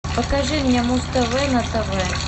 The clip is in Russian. покажи мне муз тв на тв